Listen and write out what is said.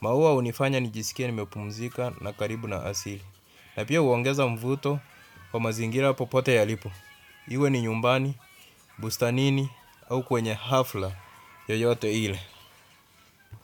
Maua hunifanya ni jisikia ni mepumzika na karibu na asili. Na pia huongeza mvuto kwa mazingira popote yalipo. Iwe ni nyumbani bustanini ama kwenye hafla yoyote ile.